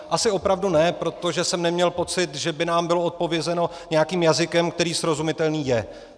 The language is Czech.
Asi opravdu ne, protože jsem neměl pocit, že by nám bylo odpovězeno nějakým jazykem, který srozumitelný je.